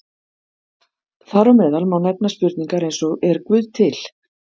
Þar á meðal má nefna spurningar eins og Er Guð til?